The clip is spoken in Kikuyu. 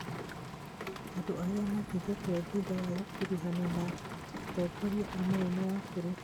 Andũ nĩ manyitĩtwo thutha wa gũkuruhana na na atongoria a munene wa bũrũri